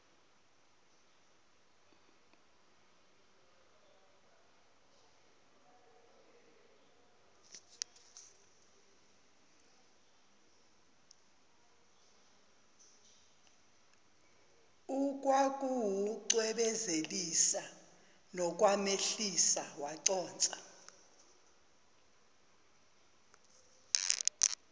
ukwakuwucwebezelisa nokwamehlisa waconsa